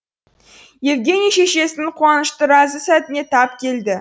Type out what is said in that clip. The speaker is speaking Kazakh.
евгений шешесінің қуанышты разы сәтіне тап келді